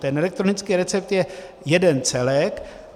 Ten elektronický recept je jeden celek.